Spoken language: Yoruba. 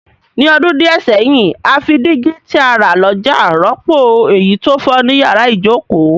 Ní odún díẹ̀ sẹ́hìn, a fi dígí ti a rà lójà rọ́pò èyí to fo ni yàrá ìjoko